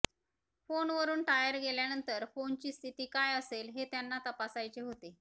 फोनवरून टायर गेल्यानंतर फोनची स्थिती काय असेल हे त्यांना तपासायचे होते